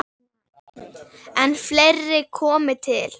En fleira komi til.